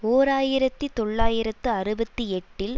ஓர் ஆயிரத்தி தொள்ளாயிரத்து அறுபத்தி எட்டில்